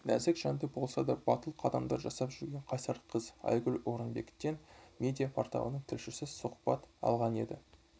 нәзік жанды болса да батыл қадамдар жасап жүрген қайсар қыз айгүл орынбектен медиа-порталының тілшісі сұхбат алғанеді